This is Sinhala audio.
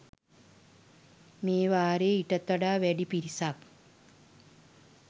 මේ වාරයේ ඊටත් වඩා වැඩි පිරිසක්